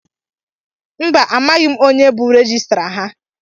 Mba, amaghị m onye bú rejistra ha.